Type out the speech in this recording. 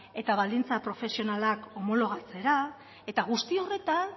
eta baldintza profesionalak homonolagatzera eta guzti horretan